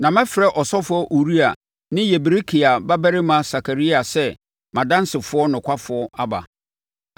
Na mɛfrɛ ɔsɔfoɔ Uria ne Yeberekia babarima Sakaria sɛ mʼadansefoɔ nokwafoɔ aba.”